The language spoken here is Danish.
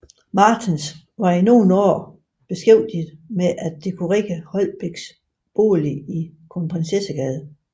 Martens var i nogle år beskæftiget med at dekorere Holbechs bolig i Kronprinsessegade